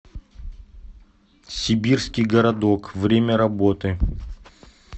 сибирский городок время работы